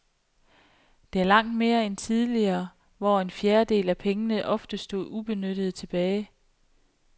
Det er langt mere end tidligere, hvor en fjerdedel af pengene ofte stod ubenyttede tilbage.